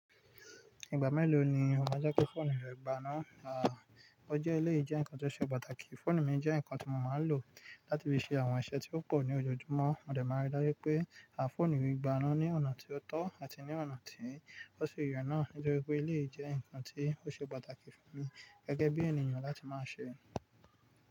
Ìgbà mélòó ni o máa ń jeki fóònù rẹ gbana? Un a ọjọ́ eléyìí jẹ́ nǹkan tó ṣe pàtàkì. Fóònù mi jẹ́ ǹkan tí mo máa lò láti fi ṣe àwọn iṣẹ́ tí ó pọ̀ ní ojoojúmọ́. Mo dẹ̀ máa n rí dájú pé à fóònù mi gbaná ní ọ̀nà tí ó tọ́ àti ní ọ̀nà tí ó ṣe ye náà nítorí pé eléyìí jẹ́ ǹkan tí ó ṣe pàtàkì fún mi gẹ́gẹ́ bí ènìyàn láti máa ṣe.